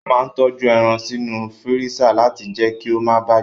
A máa n tọju ẹran sínú fírísà láti jẹ kí o ma bàjẹ́.